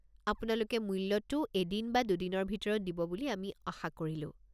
আপোনালোকে মূল্যটো এদিন বা দুদিনৰ ভিতৰত দিব বুলি আমি আশা কৰিলোঁ।